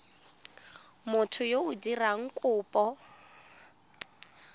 motho yo o dirang kopo